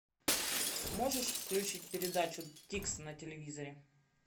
можешь включить передачу тикс на телевизоре